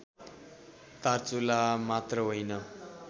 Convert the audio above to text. दार्चुला मात्र होइन